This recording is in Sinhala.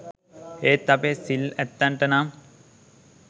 ඒත් අපේ සිල් ඇත්තන්ට නම්